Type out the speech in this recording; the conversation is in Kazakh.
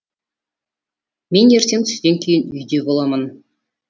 мен ертең түстен кейін үйде боламын